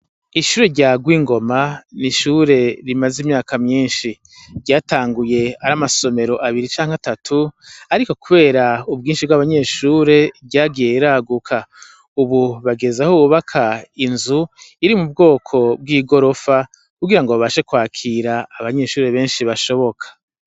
Ishure rya Rwingoma ni ishuri rimazi imyaka myinshi. Ryatanguye ari amasomero abiri canke atatu, ariko kubera ubwinshi bw' abanyeshuri ryagiye riraguka. Ubu hageze aho bubaka inzu iri mu bwoko bw' igorofa, kugirango babashe kwakira abanyeshuri benshi bashoboka.